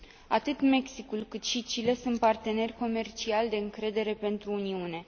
Atât Mexicul, cât și Chile sunt parteneri comerciali de încredere pentru Uniune.